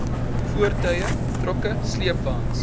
voertuie trokke sleepwaens